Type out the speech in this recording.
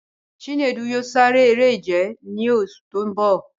Chinedu yóò sare eré-ìje ní oṣù tó ń bọ̀.